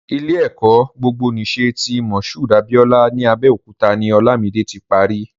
Ilé-ẹ̀kọ́ gbogbonìṣe ti Mushood Abiola ní Abẹ́òkúta ni Olamide ti pari.